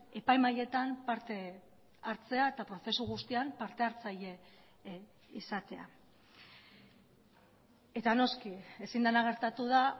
epai mahaietan parte hartzea eta prozesu guztian partehartzaile izatea eta noski ezin dena gertatu da